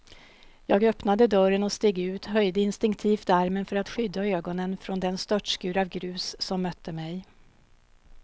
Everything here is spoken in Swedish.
Jag öppnade dörren och steg ut, höjde instinktivt armen för att skydda ögonen från den störtskur av grus som mötte mig.